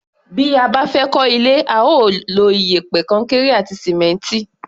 Bí a bá fẹ́ kọ́ ilé, a ó lo iyẹ̀pẹ̀, kọnkéré àti sìmẹ́ǹtì.